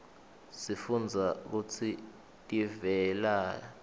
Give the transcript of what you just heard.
sifunbza kutsi tiveladhi